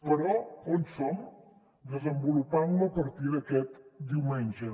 però on som desenvolupant la a partir d’aquest diumenge